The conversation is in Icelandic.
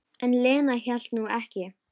En Lena hélt nú ekki.